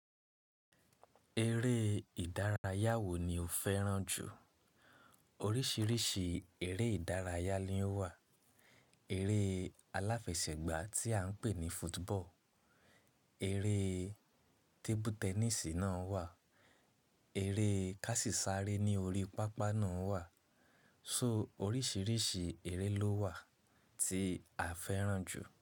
Eré ìdárayá wo ni o fẹ́ràn jù? Oríṣiríṣi eré ìdárayá ni ó wà. Eré aláfẹsẹ̀gbá tí à ń pè ní football, eré tébú tẹníìsì náà wà, eré kási sare ní orí pápá náà wà. So oríṣiríṣi eré ló wà tí a fẹ́ràn jù.